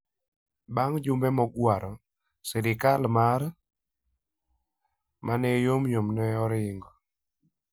Bang ' jumbe mogwaro, sirkal mar Michoacan ma ne yomyom ne oringo.